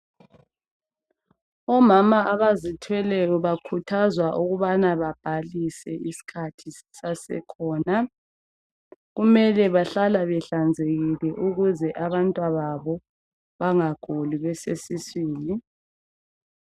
Omama abazithweleyo bakhuthazwa ukubana babhalise isikhathi sisasekhona. Kumele bahlala behlanzekile ukuze abantwababo bangaguli besesiswini.